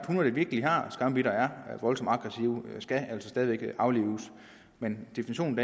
hunde der virkelig har skambidt og er voldsomt aggressive stadig væk aflives men definitionen